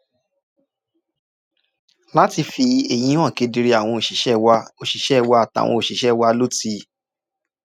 láti fi èyí hàn kedere àwọn òṣìṣẹ́ wa òṣìṣẹ́ wa àtàwọn òṣìṣẹ́ wa ló ti